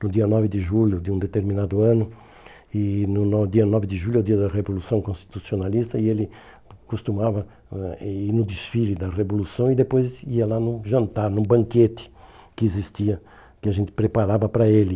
no dia nove de julho de um determinado ano, e no no dia nove de julho é o dia da Revolução Constitucionalista, e ele costumava ãh ir no desfile da Revolução e depois ia lá no jantar, no banquete que existia, que a gente preparava para ele.